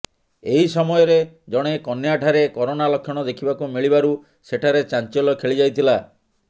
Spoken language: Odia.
ଏହି ସମୟରେ ଜଣେ କନ୍ୟାଠାରେ କରୋନା ଲକ୍ଷଣ ଦେଖିବାକୁ ମିଳିବାରୁ ସେଠାରେ ଚାଞ୍ଚଲ୍ୟ ଖେଳି ଯାଇଥିଲା